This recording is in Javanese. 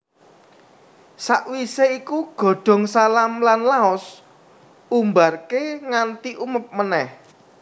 Sakwisé iku godhong salam lan laos Umbarké nganti umeb meneh